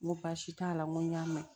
N ko baasi t'a la n go n y'a mɛn